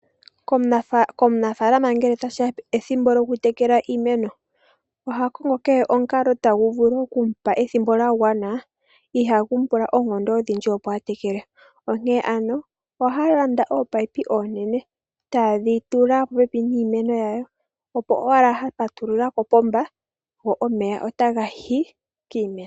Komunafaalama ngele tashiya pethimbo lyoku tekela iimeno, oha kongo kehe omukalo tagu vulu okumupa ethimbo lya gwana ihaagu mu pula oonkondo odhindji opo a tekele . Onkene ano ohaya landa oopaiyipi/ominino oonene taye dhi tula po pepi niimeno yawo opo owala ngele ya patulula kopomba go omeya otaga yi kiimeno.